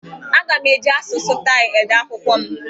Aga m eji asụsụ Taị ede akwụkwọ m.